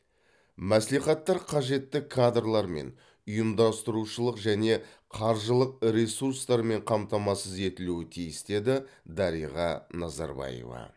мәслихаттар қажетті кадрлармен ұйымдастырушылық және қаржылық ресурстармен қамтамасыз етілуі тиіс деді дариға назарбаева